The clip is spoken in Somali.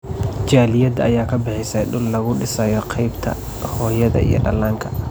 Jaaliyada ayaa bixisay dhul laga dhisayo qeybta hooyada iyo dhalaanka.